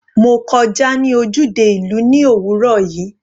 Mo kọjá ní ojúde ìlú ní òwúrọ̀ yìí.